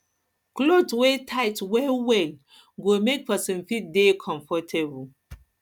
cloth wey no tight well well go go make person fit dey comfortable